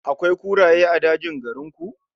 Akwai kuraye a dajin garin ku?